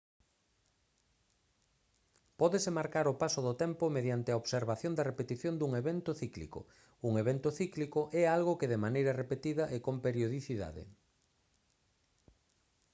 pódese marcar o paso do tempo mediante a observación da repetición dun evento cíclico un evento cíclico é algo que de maneira repetida e con periodicidade